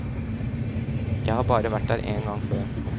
Jeg har bare vært her én gang før.